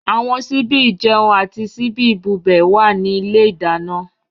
Àwọn síbí ìjẹun àti síbí ìbubẹ̀ wà ní ilé ìdáná.